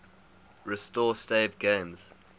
restore saved games